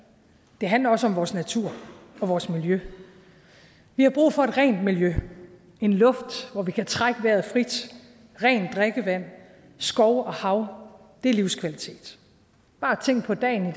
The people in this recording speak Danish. det handler også om vores natur og vores miljø vi har brug for et rent miljø en luft hvor vi kan trække vejret frit rent drikkevand skov og hav det er livskvalitet bare tænk på dagen i